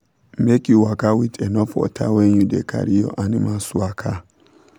make u waka with enough water when you da carry your animals waka